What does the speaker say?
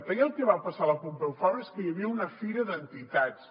ahir el que va passar a la pompeu fabra és que hi havia una fira d’entitats